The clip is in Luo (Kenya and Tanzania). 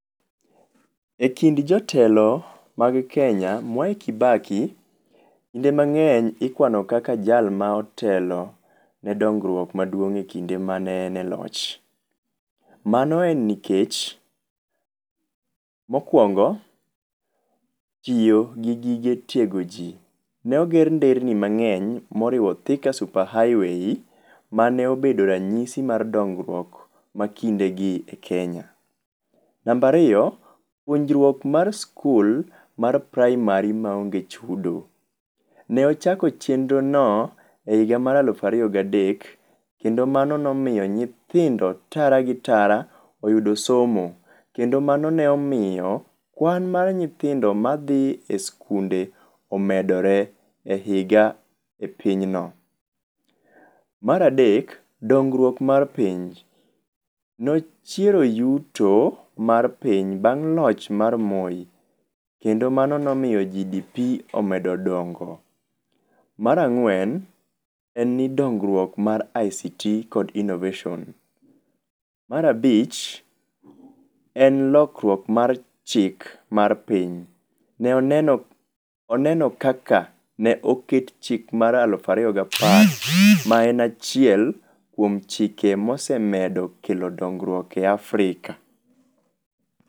Ekind jotelo mag Kenya, Mwai Kibaki kinde mang'eny ikuano kaka jal ma otelo ne dongruok maduong' ekinde mane en e loch. Mano en nikech, mokuongo tiyo gi gige tiego ji. Ne oger nderni mang'en moriwo nyaka Thika Super Highway, mane obedo ranyisi mar dongruok makindegi e Kenya. Namba ariyo, puonjruok mar skul mar praimari maon ge chudo. No ochako chenrono ehiga mar alufu ariyo gadek kendo mano nomiyo nyithindo tara gi tara oyudo somo. Kendo mano ne omiyo kwan mar nyithindo madhi e sikunde omedore e higa epinyno. Mar adek, dongruok mar piny. Nochiero yuto mar piny bang' loch mar Moi, kendo mano nomiyo GDP omedo dongo. Mar ang'wen, en ni ndongruok mar ICT kod innovation. Mar abich, en lokruok mar chik mar piny. Ne oneno oneno kaka ne oket chik mar alufu ariyo gapar maen achiel kuom chike mosemedo kelo dongruok e Africa.